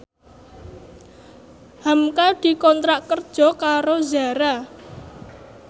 hamka dikontrak kerja karo Zara